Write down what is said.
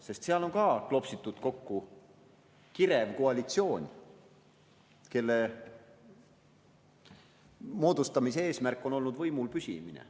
Sest seal on ka kokku klopsitud kirev koalitsioon, kelle moodustamise eesmärk on olnud võimul püsimine.